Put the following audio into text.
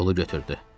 Pulu götürdü.